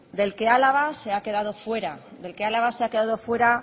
del que álava se ha quedado fuera del que álava se ha quedado fuera